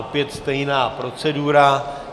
Opět stejná procedura.